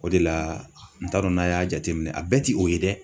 O de la n t'a dɔn n'a y'a jateminɛ a bɛɛ ti o ye dɛ.